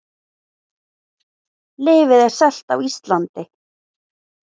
Lyfið er selt á Íslandi